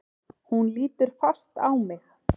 Hún lítur fast á mig.